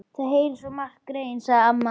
Þau heyra svo margt, greyin, sagði amma.